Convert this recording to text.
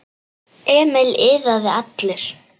Emil iðaði allur.